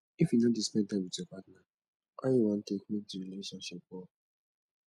if you no dey spend time wit your partner how you wan take make di relationship work